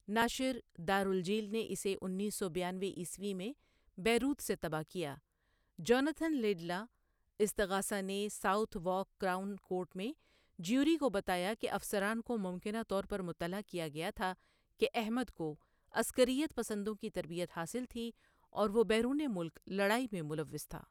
ناشر دار الجیل نے اسے انیس سو بیانوے عیسوی میں بیروت سے طبع کیا جوناتھن لیڈلا، استغاثہ، نے ساؤتھ وارک کراؤن کورٹ میں جیوری کو بتایا کہ افسران کو ممکنہ طور پر مطلع کیا گیا تھا کہ احمد کو عسکریت پسندوں کی تربیت حاصل تھی اور وہ بیرون ملک لڑائی میں ملوث تھا۔